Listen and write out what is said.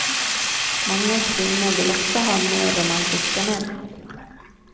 Många kvinnor vill också ha mer romantiska män.